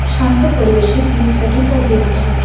শান্ত পরিবেশে গির্জাটি দাঁড়িয়ে আছে।